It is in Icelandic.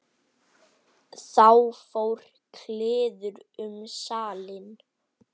Þá fór kliður um salinn.